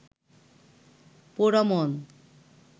পোড়ামন